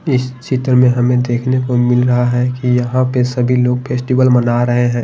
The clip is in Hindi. इस चित्र में हमें देखने को मिल रहा है कि यहां पे सभी लोग फेस्टिवल मना रहे हैं।